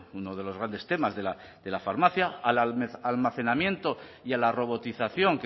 uno de los grandes temas de la farmacia al almacenamiento y a la robotización